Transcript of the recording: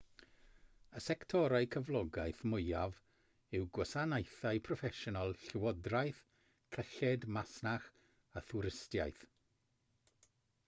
y sectorau cyflogaeth mwyaf yw gwasanaethau proffesiynol llywodraeth cyllid masnach a thwristiaeth